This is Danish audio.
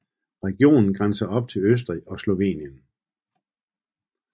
Regionen grænser op til Østrig og Slovenien